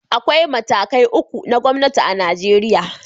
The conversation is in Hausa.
Akwai matakai uku na gwamnati a Najeriya